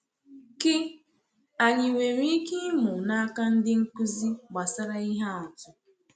Kí anyị nwere ike ịmụ n’aka ndị nkuzi gbasàra ihe atụ?